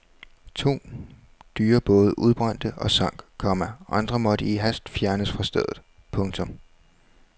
To dyre både udbrændte og sank, komma andre måtte i hast fjernes fra stedet. punktum